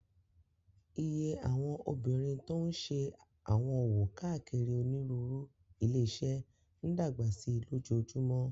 Iye àwọn obìnrin tó n ṣe àwọn òwò káàkiri onírúurú ilé-iṣẹ́ n dàgbà sí lójoojúmó